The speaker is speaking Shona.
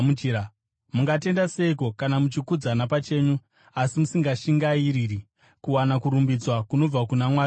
Mungatenda seiko kana muchikudzana pachenyu asi musingashingairiri kuwana kurumbidzwa kunobva kuna Mwari oga?